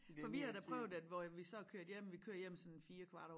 For vi har da prøvet at hvor at vi så er kørt hjem vi kører sådan 4 kvart over